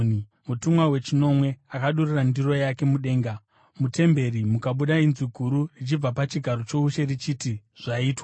Mutumwa wechinomwe akadurura ndiro yake mudenga, mutemberi mukabuda inzwi guru richibva pachigaro choushe, richiti, “Zvaitwa!”